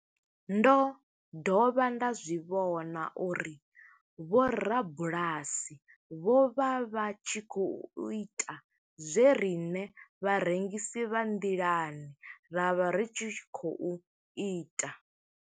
Ndo dovha nda zwi vhona uri vhorabulasi vho vha vha tshi khou ita zwe riṋe vharengisi vha nḓilani ra vha ri tshi khou ita.